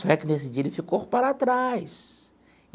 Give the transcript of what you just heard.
Só que, nesse dia, ele ficou para trás.